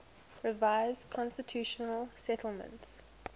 revised constitutional settlement